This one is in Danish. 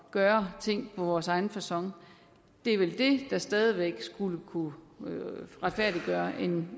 gøre tingene på vores egen facon det er vel det der stadig væk skulle kunne retfærdiggøre en